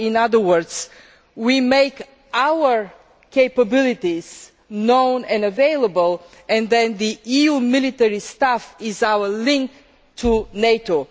In other words, we make our capabilities known and available, and then the EU military staff are our link to NATO.